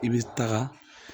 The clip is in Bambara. I bɛ taga